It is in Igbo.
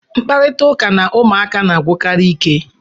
Mkparịta ụka na ụmụaka na-agwụkarị ike